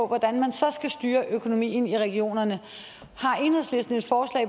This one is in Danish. hvordan man så skal styre økonomien i regionerne